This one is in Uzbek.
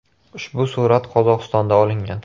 Ushbu surat Qozog‘istonda olingan.